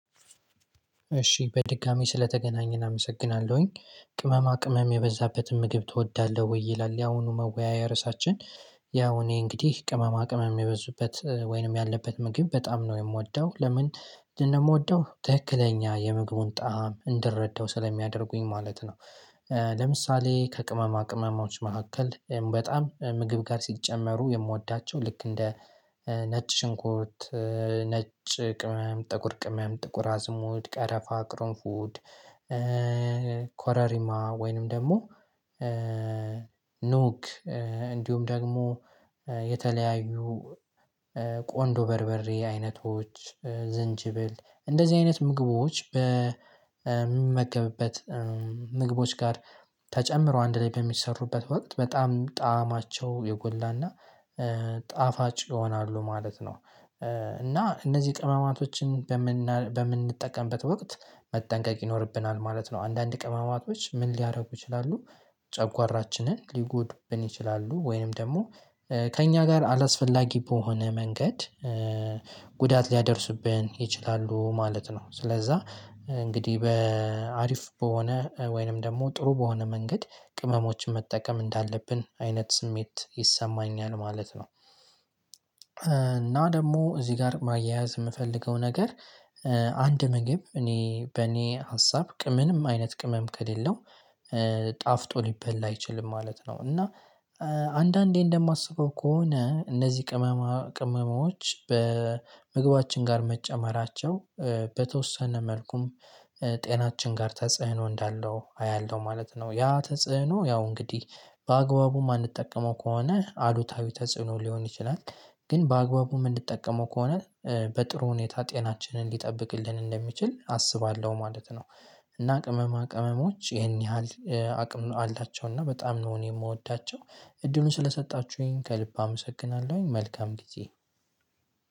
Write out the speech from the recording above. እሺ በድጋሚ ስለተገናኘን አመሰግናለሁኝ ቅመማ ቅመም የበዛበትን ምግብ ትወዳለህ? ወይ ይላል ያሁኑ መወያያ ርዕሳችን። ያው እኔ እንግዲህ ቅመማ ቅመም የበዙበት ወይንም ያለበት ምግብ በጣም ነው የምወደው ለምን? እንደምወደው ትክክለኛ የምግቡን ጣዕም እንድረዳው ስለሚያደርጉኝ ማለት ነው። ለምሳሌ ከቅመማ ቅመማዎች መካከል በጣም ምግብ ጋር ሲጨመሩ የምወዳቸው ልክ እንደ ነጭ ሽንኩት ነጭ ቅመም ጥቁር ቅመም ጥቁር አዝሙድ ቀረፋ ቅርንፉድ። ኮረሪማ ወይንም ደግሞ ኑግ እንዲሁም ደግሞ የተለያዩ ቆንዶ በርበሬ አይነቶች ዝንጅብል እንደዚህ አይነት ምግቦች በሚመገብበት ምግቦች ጋር ተጨምሮ አንድ ላይ በሚሠሩበት ወቅት በጣም ጣዕማቸው የጎላና ጣፋጭ ይሆናሉ። ማለት ነው እና እነዚህ ቅመማቶችን በምን በምንጠቀምበት ወቅት መጠንቀቅ ይኖርብናል ማለት ነው። አንዳንድ ቅማማቶች ምን ሊያደርጉ ይችላሉ። ጨጓራችንን ሊጎዱብን ይችላሉ ወይንም ደግሞ ከእኛ ጋር አላስፈላጊ በሆነ መንገድ ጉዳት ሊያደርስብን ይችላሉ ማለት ነው። ስለዛ እንግዲህ በአሪፍ በሆነ ወይንም ደግሞ ጥሩ በሆነ መንገድ ቅመሞችን መጠቀም እንዳለብን አይነት ስሜት ይሰማኛል ማለት ነው። እና ደግሞ እዚህ ጋር ማያያዝ የምፈልገው ነገር። አንድ ምግብ እኔ በኔ ሀሳብ ቅምንም አይነት ቅምም ከሌለው ጣፍጦ ሊበላ አይችልም ማለት ነው። እና አንዳንዴ እንደማስበው ከሆነ እነዚህ ቅመማ ቅመማዎች በምግባችን ጋር መጨመራቸው በተወሰነ መልኩም ጤናችን ጋር ተጽዕኖ እንዳለው አያለሁ ማለት ነው። ያ ተጽዕኖ ያው እንግዲህ በአግባቡ የማንጠቀመው ከሆነ አዱታዊ ተጽዕኖ ሊሆን ይችላል። ግን በአግባቡ ምን እንድትጠቀመው ከሆነ በጥሩ ሁኔታ ጤናችንን ሊጠብቅልን እንደሚችል አስባለሁ ማለት ነው። እና ቅመማ ቅመሞች ይሄን ያህል አቅም አላቸው እና በጣም ነው የምወዳቸው። እድሉን ስለሰጣችሁኝ ከልብ አመሰግናለሁኝ መልካም ጊዜ።